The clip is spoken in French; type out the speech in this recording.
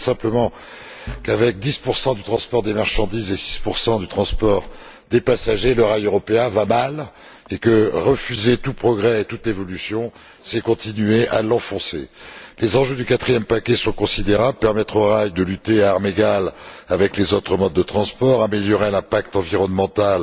Je rappelle simplement qu'avec 10 du transport des marchandises et 6 du transport des passagers, le rail européen va mal, et que refuser tout progrès et toute évolution, c'est continuer à l'enfoncer. Les enjeux du quatrième paquet sont considérables permettre au rail de lutter à armes égales avec les autres modes de transport, améliorer l'impact environnemental